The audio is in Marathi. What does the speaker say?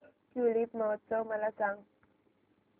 ट्यूलिप महोत्सव मला सांग